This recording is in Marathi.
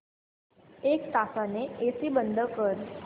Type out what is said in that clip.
एक तासाने एसी बंद कर